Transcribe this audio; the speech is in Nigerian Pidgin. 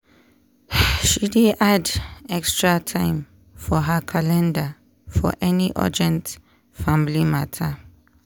she dey add extra time for her calendar for any urgent family matter.